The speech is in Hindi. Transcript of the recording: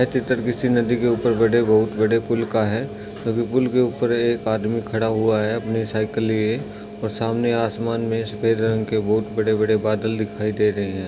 ये चित्र किसी नदी के ऊपर बड़े बहुत पूल का है क्योंकी पूल के ऊपर एक आदमी खड़ा हुआ है अपनी सायकल लिए और सामने असमान में सेद रंग के बहुत बड़े बड़े बादल दिखाई दे रहे हैं ।